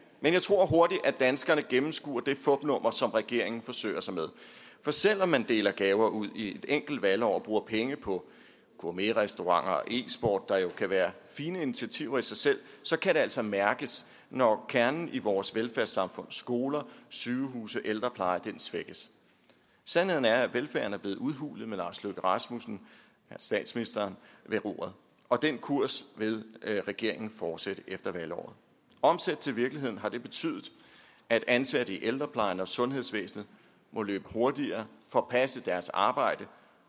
danskerne gennemskuer det fupnummer som regeringen forsøger sig med for selv om man deler gaver ud i et enkelt valgår og bruger penge på gourmetrestauranter og e sport der jo kan være fine initiativer i sig selv så kan det altså mærkes når kernen i vores velfærdssamfund skoler sygehuse ældrepleje svækkes sandheden er at velfærden er blevet udhulet med statsministeren ved roret og den kurs vil regeringen fortsætte efter valgåret omsat til virkelighed har det betydet at ansatte i ældreplejen og sundhedsvæsenet må løbe hurtigere for at passe deres arbejde